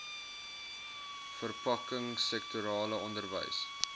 verpakking sektorale onderwys